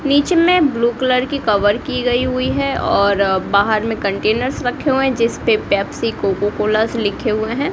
नीचे में blue colour की कवर की गई हुई है और बाहर में कंटेनर्स रखे हुए हैं जिसपे पेप्सी कोको कोलाज लिखे हुए हैं।